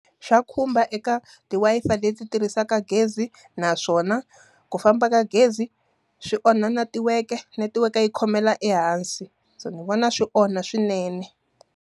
Swa khumba eka ti-Wi-Fi leti tirhisaka gezi. Naswona ku famba ka gezi, swi onha netiweke. Netiweke yi khomela ehansi. so ni vona swi onha swinene.